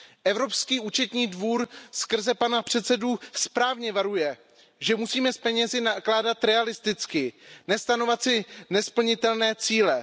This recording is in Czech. Evropský účetní dvůr skrze pana předsedu správně varuje, že musíme s penězi nakládat realisticky, nestanovovat si nesplnitelné cíle.